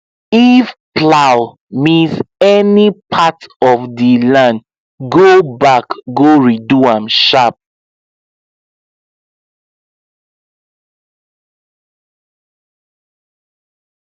if plow miss any part of the land go back go redo am sharp